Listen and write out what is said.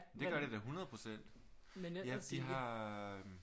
Det gør det da 100 % de har